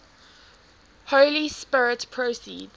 holy spirit proceeds